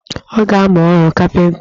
Ọ ga-amụ ọrụ kapinta